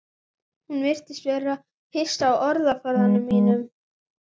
Hún virðist hissa á orðaforða mínum.